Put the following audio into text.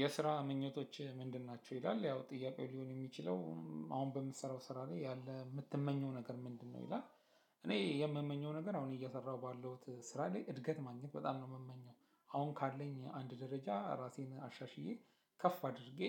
የስራ ምኞቶችህ ምንድን ናቸው ይላል ያው ጥያቄው ሊሆን የሚችለው አሁን በምሰራው ስራ ላይ ያለህ የምትመኘው ነገር ምንድን ነው ይላል? እኔ የምመኘው ነገር አሁን እየሰራሁ ባለሁት ስራ ላይ እድገት ማግኘት በጣም ነው የምመኘው አሁን ካለኝ አንድ ደረጃ ራሴን አሻሽዬ ከፍ አድርጌ